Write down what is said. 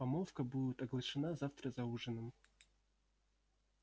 помолвка будет оглашена завтра за ужином